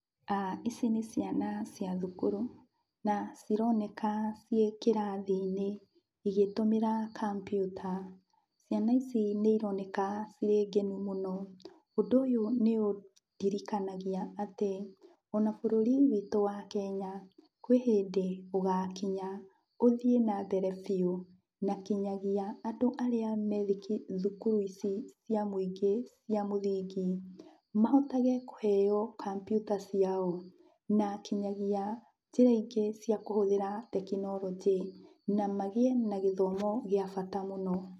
Ici nĩ ciana cia thukuru na cironeka ciĩ kĩrathi-inĩ igĩtũmĩra kompiuta. Ciana ici nĩironeka cirĩ ngenu mũno. Ũndũ ũyũ nĩũndirikanagia atĩ, ona bũrũri wĩtũ wa Kenya, kwĩ hĩndĩ ũgakinya, ũthiĩ na mbere biũ na kinyagia andũ arĩa me thukuru ici cia mũingĩ cia mũthingi, mahotage kũheyo kompiuta ciao, na kinyagia njĩra ingĩ cia kũhũthĩra tekinoronjĩ, na magĩe na gĩthomo gĩa bata mũno.